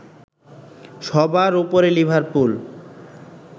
সবার উপরে লিভারপুল